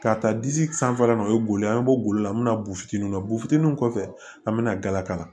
K'a ta disi sanfɛla la o ye boli ye an be bɔ la an mi na bu fitininw na bufiniw kɔfɛ an be na galaka la